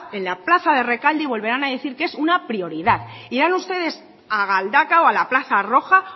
en la plaza de rekalde y volverán a decir que es una prioridad irán ustedes a galdakao a la plaza roja